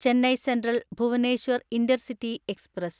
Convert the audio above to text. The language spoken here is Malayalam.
Chennai central Bhubaneswar intercity express